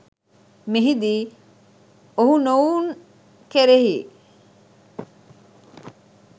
මෙහිදී ඔවුනොවුන් කෙරෙහි